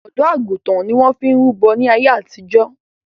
Ọ̀dọ́ àgùntàn ni wọn fi ń rúbọ̀ ní àyé àtìjọ́